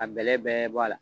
Ka bɛlɛ bɛɛ bɔ a la